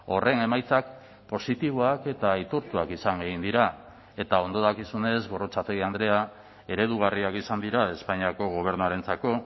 horren emaitzak positiboak eta aitortuak izan egin dira eta ondo dakizunez gorrotxategi andrea eredugarriak izan dira espainiako gobernuarentzako